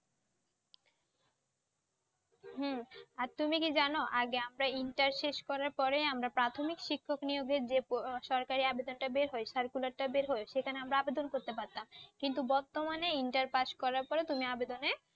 হম আর তুমি কি জানো আগে আমরা ইন্টার শেষ করার পরে আমরা প্রাথমিক শিক্ষক নিয়োগের যে সরকারি আবেদনটা বের হয় circular টা বের হয় সেখানে আমরা আবেদন করতে পারতাম কিন্তু বর্তমানে ইন্টার পাস করার পর তুমি আবেদনে